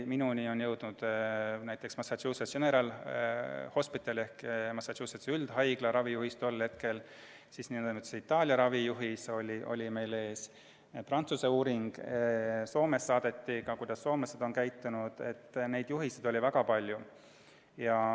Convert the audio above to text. Minuni jõudis näiteks Massachusetts General Hospitali ehk Massachusettsi üldhaigla tolle hetke ravijuhis, samuti oli meil ees n-ö Itaalia ravijuhis, olemas oli ka Prantsuse uuring, Soomest saadi teavet, kuidas soomlased on käitunud – juhiseid oli väga palju.